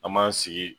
An m'an sigi